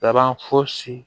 Laban fosi